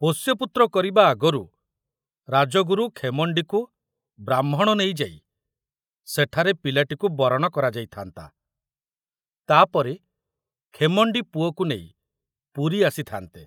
ପୋଷ୍ୟପୁତ୍ର କରିବା ଆଗରୁ ରାଜଗୁରୁ ଖେମଣ୍ଡିକୁ ବ୍ରାହ୍ମଣ ନେଇଯାଇ ସେଠାରେ ପିଲାଟିକୁ ବରଣ କରାଯାଇଥାନ୍ତା, ତା ପରେ ଖେମଣ୍ଡି ପୁଅକୁ ନେଇ ପୁରୀ ଆସିଥାନ୍ତେ।